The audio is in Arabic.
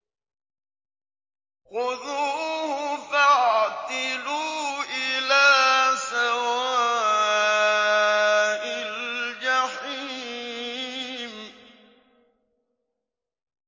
خُذُوهُ فَاعْتِلُوهُ إِلَىٰ سَوَاءِ الْجَحِيمِ